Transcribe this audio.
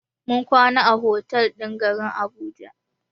Mun kwana a otal ɗin garin Abuja.